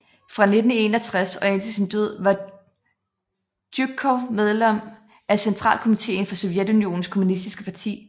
Fra 1961 og indtil sin død var Tjujkov medlem af Centralkomiteen for Sovjetunionens kommunistiske parti